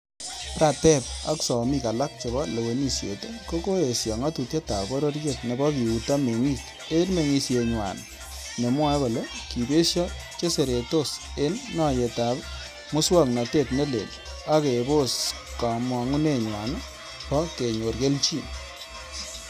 Prateep ak somik alak chebo lewenisiet, Ko koyesho ng'atutietab bororiet nebo kiuto meng'ik en meng'isienywan, nemwoe kole kibesho cheseretos en noyetab muswog'notet ne leel, ak kebos kamugenywan bo kenyor kelchin.